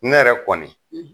Ne yɛrɛ kɔni,